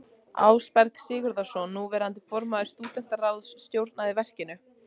Ásberg Sigurðsson, núverandi formaður stúdentaráðs, stjórnaði verkinu.